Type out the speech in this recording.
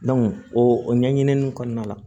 o o ɲɛɲini kɔnɔna la